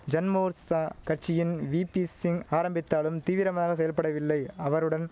ஜன்மோர்ச்சா கட்சியின் வீப்பிசிங் ஆரம்பித்தாலும் தீவிரமாக செயல்படவில்லை அவருடன்